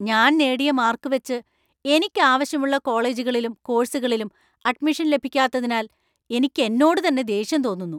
ഞാൻ നേടിയ മാർക്കുവച്ച് എനിക്ക് ആവശ്യമുള്ള കോളേജുകളിലും കോഴ്സുകളിലും അഡ്മിഷൻ ലഭിക്കാത്തതിനാൽ എനിക്ക് എന്നോട് തന്നെ ദേഷ്യം തോന്നുന്നു .